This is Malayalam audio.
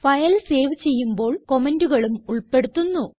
ഫയൽ സേവ് ചെയ്യുമ്പോൾ കമന്റുകളും ഉൾപ്പെടുത്തുന്നു